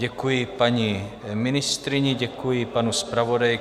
Děkuji paní ministryni, děkuji panu zpravodaji.